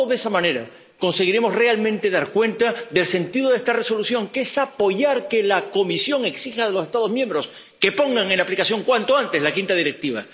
Solo de esa manera conseguiremos realmente dar cuenta del sentido de esta Resolución, que es apoyar que la Comisión exija a los Estados miembros que pongan en aplicación cuanto antes la quinta Directiva.